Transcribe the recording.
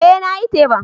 Eh nayi teban.